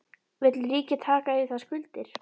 Vill ríkið taka yfir þær skuldir?